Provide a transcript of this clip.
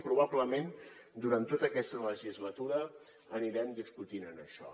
i probablement durant tota aquesta legislatura anirem discutint en això